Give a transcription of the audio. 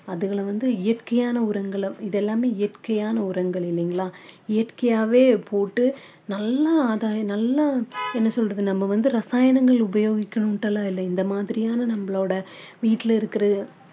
அதுங்களை வந்து இயற்கையான உரங்களை இது எல்லாமே இயற்கையான உரங்கள் இல்லங்களா இயற்கையாவே போட்டு நல்ல ஆதாயம் நல்லா என்ன சொல்றது நம்ம வந்து ரசாயனங்களை உபயோகிக்கணுட்டு எல்லாம் இல்லை இந்த மாதிரியான நம்மளோட வீட்டுல இருக்கிற